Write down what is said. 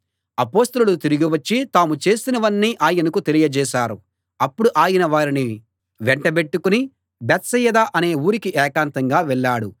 అపొస్తలులు తిరిగి వచ్చి తాము చేసినవన్నీ ఆయనకు తెలియజేశారు అప్పుడు ఆయన వారిని వెంట బెట్టుకుని బేత్సయిదా అనే ఊరికి ఏకాంతంగా వెళ్ళాడు